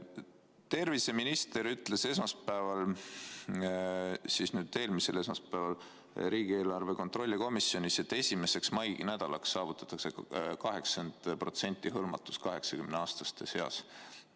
Terviseminister ütles eelmisel esmaspäeval riigieelarve kontrolli erikomisjonis, et esimeseks mainädalaks saavutatakse 80% hõlmatus 80-aastaste seas.